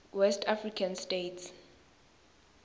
west african states